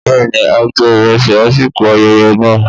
Bẹ́ẹ̀ni, a jẹ ìrẹsì lásìkò ayẹyẹ náà.